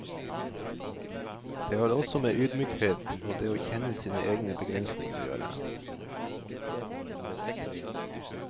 Det har også med ydmykhet og det å kjenne sine egne begrensning å gjøre.